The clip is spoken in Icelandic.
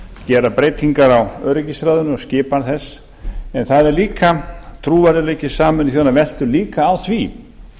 gera breytingar á öryggisráðinu og skipan þess en trúverðugleiki sameinuðu þjóðanna veltur líka á því